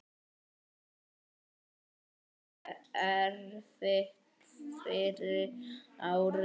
Það var erfitt fyrsta árið.